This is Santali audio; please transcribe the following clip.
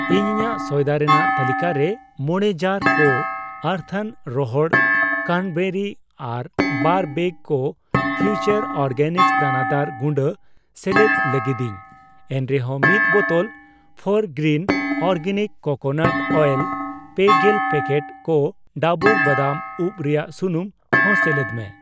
ᱤᱧ ᱤᱧᱟᱜ ᱥᱚᱭᱫᱟ ᱨᱮᱱᱟᱜ ᱛᱟᱹᱞᱤᱠᱟᱨᱮ ᱢᱚᱲᱮ ᱡᱟᱨ ᱠᱚ ᱟᱹᱨᱛᱷᱚᱱ ᱨᱚᱦᱚᱲ ᱠᱨᱟᱱᱵᱮᱨᱤ ᱟᱨ ᱵᱟᱨ ᱵᱮᱜ ᱠᱚ ᱯᱷᱤᱣᱪᱟᱨ ᱚᱨᱜᱮᱱᱤᱠᱥ ᱫᱟᱱᱟᱫᱟᱨ ᱜᱩᱰᱟᱹ ᱥᱮᱞᱮᱫ ᱞᱟᱹᱜᱤᱫᱤᱧ ᱾ ᱮᱱᱨᱮᱦᱚᱸ ᱢᱤᱛ ᱵᱚᱛᱚᱞ ᱯᱷᱚᱨᱜᱨᱤᱱ ᱚᱨᱜᱮᱱᱤᱠ ᱠᱳᱠᱳᱱᱟᱴ ᱚᱭᱮᱞ, ᱯᱮᱜᱮᱞ ᱯᱮᱠᱮᱴ ᱠᱚ ᱰᱟᱵᱩᱨ ᱵᱟᱫᱟᱢ ᱩᱵᱽ ᱨᱮᱭᱟᱜ ᱥᱩᱱᱩᱢ ᱦᱚᱸ ᱥᱮᱞᱮᱫ ᱢᱮ ᱾